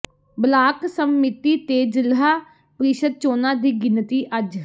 block ਸੰਮਤੀ ਤੇ ਜ਼ਿਲ੍ਹਾ ਪ੍ਰੀਸ਼ਦ ਚੋਣਾਂ ਦੀ ਗਿਣਤੀ ਅੱਜ